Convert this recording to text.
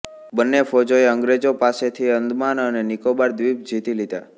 બંને ફૌજોએ અંગ્રેજોં પાસેથી અંદમાન અને નિકોબાર દ્વીપ જીતી લીધા